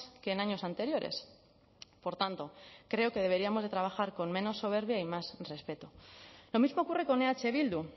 que en años anteriores por tanto creo que deberíamos de trabajar con menos soberbia y más respeto lo mismo ocurre con eh bildu